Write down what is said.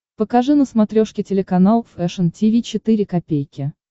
покажи на смотрешке телеканал фэшн ти ви четыре ка